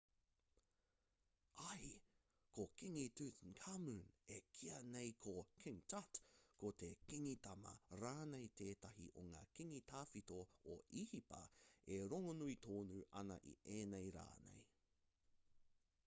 āe ko kingi tutankhamun e kīa nei ko king tut ko te kingi tama rānei tētahi o ngā kingi tawhito o īhipa e rongonui tonu ana i ēnei rā nei